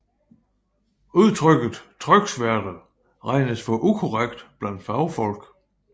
Udtrykket tryksværte regnes for ukorrekt blandt fagfolk